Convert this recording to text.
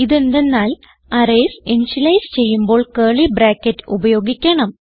ഇതെന്തന്നാൽ arrays initialise ചെയ്യുമ്പോൾ curly bracket ഉപയോഗിക്കണം